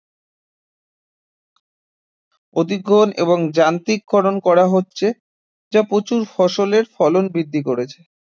অধিগ্রহণ এবং যান্ত্রিকীকরণ করা হচ্ছে যা প্রচুর ফসলের ফলন বৃদ্ধি করেছে